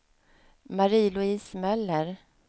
Marie-Louise Möller